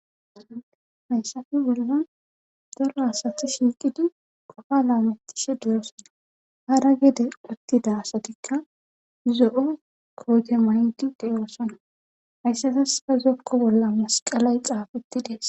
Hayssafe boldan daro asathi shiiqidi kofa laametishe durossana hara gede uttida asatikka zo'o koote maydi deyoossana hayssatas pa zokko bolla masqalay xaafeti dees.